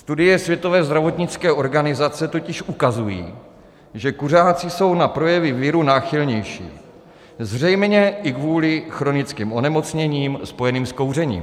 Studie Světové zdravotnické organizace totiž ukazují, že kuřáci jsou na projevy viru náchylnější, zřejmě i kvůli chronickým onemocněním spojeným s kouřením.